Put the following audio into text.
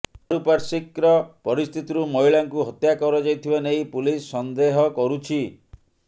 ପାରିପାଶ୍ୱର୍ିକ ସ୍ଥିତିରୁ ମହିଳାଙ୍କୁ ହତ୍ୟା କରାଯାଇଥିବା ନେଇ ପୁଲିସ୍ ସନେ୍ଦହ କରୁଛି